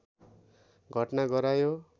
घटना गरायो